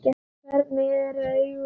Hvernig eru augun á litinn?